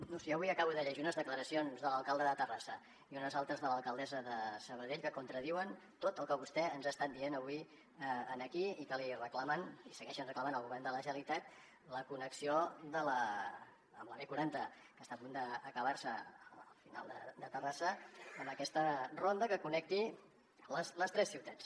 no ho sé jo avui acabo de llegir unes declaracions de l’alcalde de terrassa i unes altres de l’alcaldessa de sabadell que contradiuen tot el que vostè ens ha estat dient avui aquí i que li reclamen li segueixen reclamant al govern de la generalitat la connexió amb la b quaranta que està a punt d’acabar se al final de terrassa amb aquesta ronda que connecti les tres ciutats